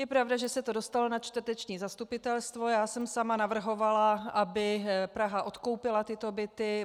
Je pravda, že se to dostalo na čtvrteční zastupitelstvo, já jsem sama navrhovala, aby Praha odkoupila tyto byty.